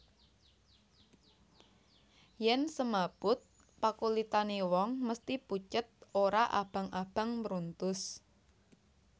Yen semaput pakulitane wong mesthi pucet ora abang abang mruntus